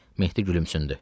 Mehdi gülümsündü.